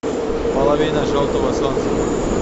половина желтого солнца